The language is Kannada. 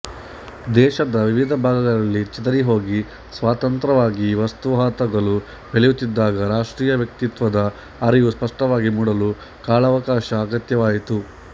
ದೇಶದ ವಿವಿಧ ಭಾಗಗಳಲ್ಲಿ ಚೆದರಿಹೋಗಿ ಸ್ವತಂತ್ರವಾಗಿ ವಸಾಹತುಗಳು ಬೆಳೆಯುತ್ತಿದ್ದಾಗ ರಾಷ್ಟ್ರೀಯ ವ್ಯಕ್ತಿತ್ವದ ಅರಿವು ಸ್ಪಷ್ಟವಾಗಿ ಮೂಡಲು ಕಾಲಾವಕಾಶ ಅಗತ್ಯವಾಯಿತು